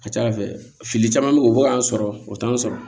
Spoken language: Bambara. A ka ca ala fɛ fili caman bɛ ye u bɛ bɔ k'an sɔrɔ o t'an sɔrɔ